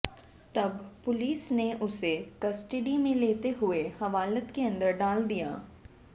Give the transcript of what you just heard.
तब पुलिस ने उसे कस्टडी में लेते हुए हवालात के अंदर डाल दिया